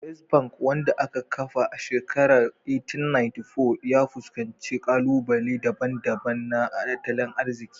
First Bank, wanda aka kafa a shekarar 1894, ya fuskanci ƙalubale daban-daban na tattalin arziki